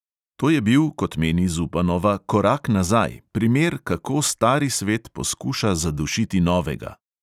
To je bil, kot meni zupanova, korak nazaj, primer "kako stari svet poskuša zadušiti novega".